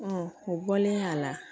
o bɔlen a la